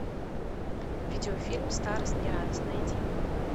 видеофильм старость не радость найди